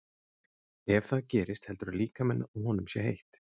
Ef það gerist heldur líkaminn að honum sé heitt.